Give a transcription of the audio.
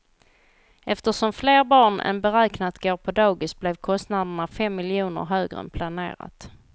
Eftersom fler barn än beräknat går på dagis blev kostnaderna fem miljoner högre än planerat.